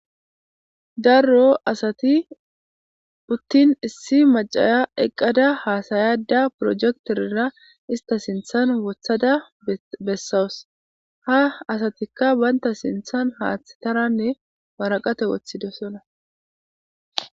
Daro asati uuttin issi macaya eqqada haasa'ada pirojekitera ista sinthan woththada bessawus ha asatikka bantta sinthan haaththetaranne waraqate woththidosonna